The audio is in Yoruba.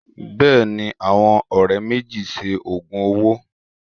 Bẹ́ẹ̀ ni, àwọn ọ̀rẹ́ méjì ṣe òògùn owó